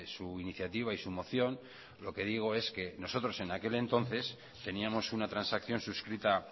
su iniciativa y su moción lo que digo es que nosotros en aquel entonces teníamos una transacción suscrita